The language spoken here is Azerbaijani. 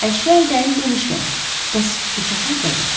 Əşyayi dəlil demişkən, bəs bıçaq hardadır?